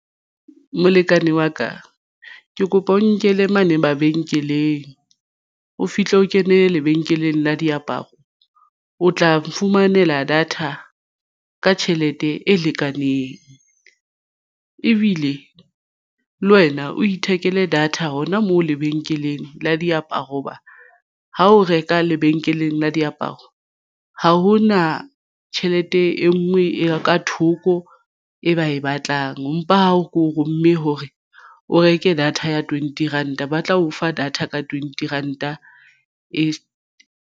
Molekane wa ka ke kopa o nkele mane mabenkeleng o fihle o kene lebenkeleng la diaparo o tla fumanela data ka tjhelete e lekaneng ebile le wena o ithekele data hona moo lebenkeleng la diaparo hoba ha o reka lebenkeleng la diaparo ha ho na tjhelete e nngwe ya ka thoko e ba e batlang, empa ha o mme hore o reke data ya twenty ranta ba tla o fa data ka twenty ranta.